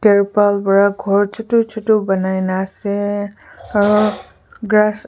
tripal para ghor chotu chotu bonai Kani ase aru grass .